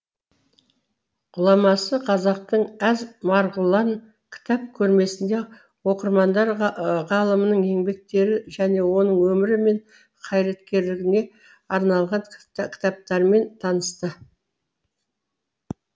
ғұламасы қазақтың әз марғұлан кітап көрмесінде оқырмандар ғалымның еңбектері және оның өмірі мен қайраткерлігіне арналған кітаптармен танысты